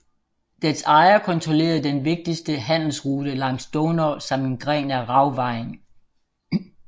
Dets ejer kontrollerede den vigtige handelsrute langs Donau samt en gren af Ravvejen